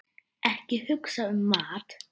Ekki hugsa um mat!